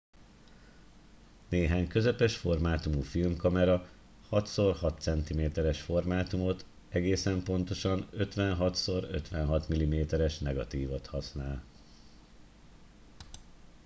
néhány közepes formátumú filmkamera 6 x 6 cm-es formátumot egészen pontosan 56 × 56 mm-es negatívot használ